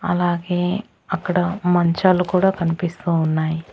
అలాగే అక్కడ మంచాలు కూడా కనిపిస్తూ ఉన్నాయి.